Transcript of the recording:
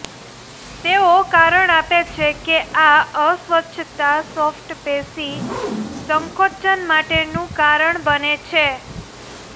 તેઓ કારણ આપે છે કે આ અસ્વસ્થતા સોફ્ટ પેશી સંકોચન માટેનું કારણ બને છે